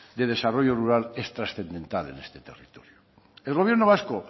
de desarrollo rural es transcendental en este territorio el gobierno vasco